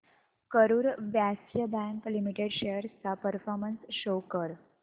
Karur Vysya Bank Limited shares चा performance show कर